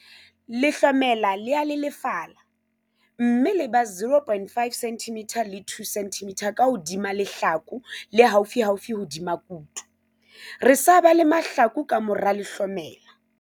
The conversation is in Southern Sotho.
Lehlomela le a lelefala, mme le ba 0,5 cm le 2 cm ka hodima lehlaku le haufiufi hodima kutu, re sa bale mahlaku ka mora lehlomela.